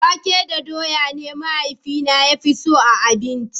wake da dawa ne mahaifina ya fi so abinci